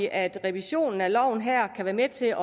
at revisionen af loven her kan være med til at